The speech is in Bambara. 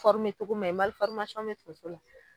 cogo man ɲi be tonso la.